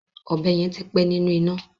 Ọ̀bẹ yẹn ti pẹ́ nínú iná.